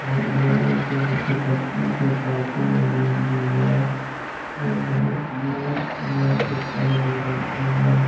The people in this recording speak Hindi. और यहाँ पे बहुत अच्छा से पार्किंग बनी हुई है और बहुत मस्त इमेज दिखाई दे रही है ।